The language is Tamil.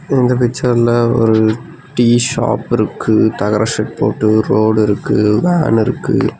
இந்த பிச்சர்ல ஒரு டீ ஷாப் இருக்கு தகர ஷெட் போட்டு ரோடு இருக்கு வேன் இருக்கு.